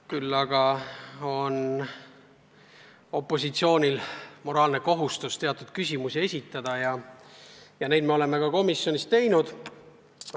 Küll aga on opositsioonil moraalne kohus teatud küsimusi esitada ja seda me oleme komisjonis ka teinud.